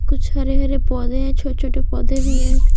कुछ हरे हर एपोधे है छोटे छोटे पोधे भी है।